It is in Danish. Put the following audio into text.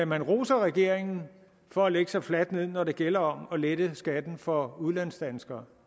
man roser regeringen for at lægge sig fladt ned når det gælder om at lette skatten for udlandsdanskere